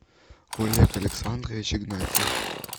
олег александрович игнатьев